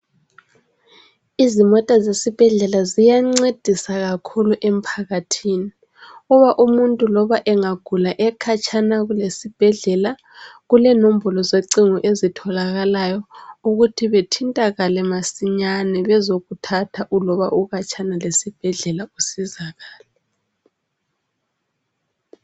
Izimota zesibhedlela ziyancedisa kakhulu emphakathini ukuba umuntu loba engagula ekhatshana lesibhedlela kulenombolo zocingo ezitholakalayo ukuthi bethintakale masinyane bezokuthatha uloba ukhatshana lesibhedlela usizakale.